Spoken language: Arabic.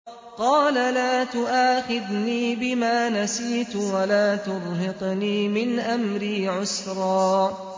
قَالَ لَا تُؤَاخِذْنِي بِمَا نَسِيتُ وَلَا تُرْهِقْنِي مِنْ أَمْرِي عُسْرًا